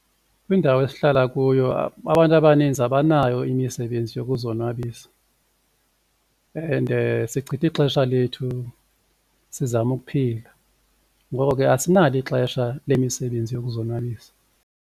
Kwindawo esihlala kuyo abantu abaninzi abanayo imisebenzi yokuzonwabisa ende sichitha ixesha lethu sizama ukuphila ngoko ke asinalo ixesha lemisebenzi yokuzonwabisa.